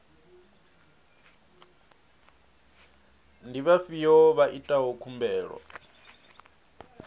ndi vhafhio vha itaho khumbelo